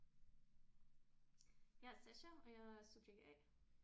Jeg er Sasha og jeg er subjekt A